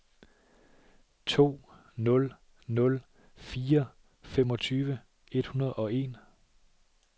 to nul nul fire femogtyve et hundrede og en